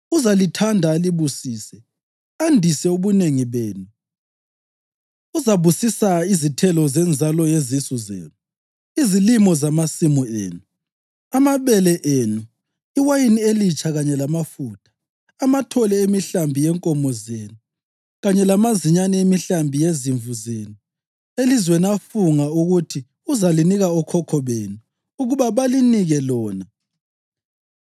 Uzalithanda alibusise andise ubunengi benu. Uzabusisa izithelo zenzalo yezisu zenu, izilimo zamasimu enu, amabele enu, iwayini elitsha kanye lamafutha, amathole emihlambi yenkomo zenu kanye lamazinyane emihlambi yezimvu zenu elizweni afunga ukuthi uzalinika okhokho benu ukuba balinike lona.